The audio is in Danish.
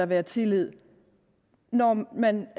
være tillid når man